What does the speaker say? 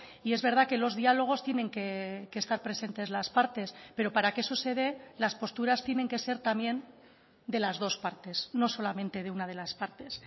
y es verdad que los diálogos tienen que estar presentes las partes pero para que eso se dé las posturas tienen que ser también de las dos partes no solamente de una de las partes